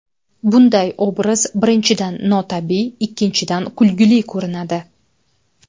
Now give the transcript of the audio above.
Bunday obraz, birinchidan, notabiiy; ikkinchidan, kulgili ko‘rinadi.